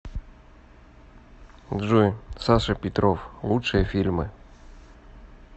джой саша петров лучшие фильмы